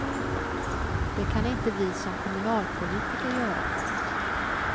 Det kan inte vi som kommunalpolitiker göra.